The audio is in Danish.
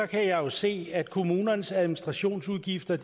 kan jeg jo se at kommunernes administrationsudgifter